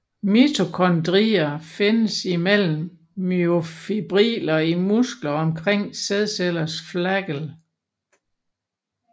Mitokondrier findes imellem myofibriller i muskler og omkring sædcellers flagel